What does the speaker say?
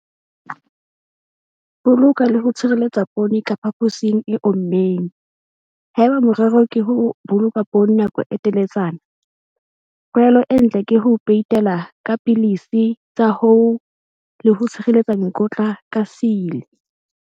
Boloka le ho tshireletsa poone ka phaposing e ommeng. Haeba morero ke ho boloka poone nako e teletsana, tlwaelo e ntle ke ho peitela ka dipilisi tsa hoo le ho tshireletsa mekotla ka seile.